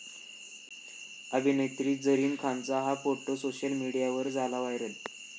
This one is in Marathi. अभिनेत्री झरीन खानचा 'हा' फोटो सोशल मीडियावर झाला व्हायरल